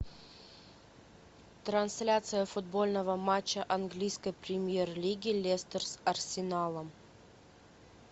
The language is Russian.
трансляция футбольного матча английской премьер лиги лестер с арсеналом